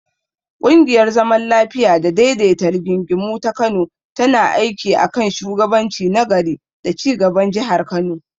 Ƙungiyar zaman lafiya da daidaita rigingimu ta Kano tana aiki a kan shugabanci na gari da ci gaban Jihar Kano.